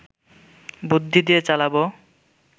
বুদ্ধি দিয়ে চালাবো